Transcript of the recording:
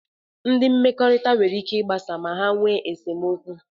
Ndị mmekọrịta nwere ike ịgbasa ma ha nwe nsemokwu.